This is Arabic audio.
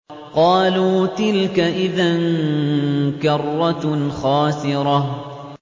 قَالُوا تِلْكَ إِذًا كَرَّةٌ خَاسِرَةٌ